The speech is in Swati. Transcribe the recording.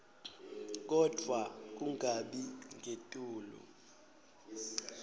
kodvwa kungabi ngetulu